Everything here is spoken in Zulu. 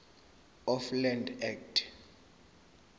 of land act